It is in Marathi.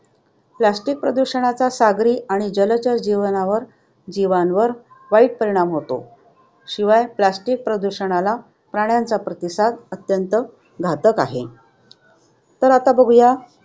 Plastic प्रदूषणाचा सागरी आणि जलचर जीवनावर जीवांवर वाईट परिणाम होतो. शिवाय plastic प्रदूषणाला प्राण्यांचा प्रतिसाद अत्यंत घातक आहे. तर आता बघूयात